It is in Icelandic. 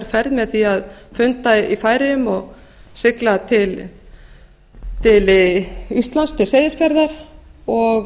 ferð með því að funda í færeyjum og sigla til íslands til seyðisfjarðar og